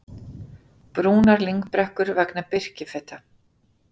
Brúnar lyngbrekkur vegna birkifeta